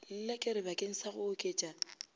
lelekere bakeng sa go oketša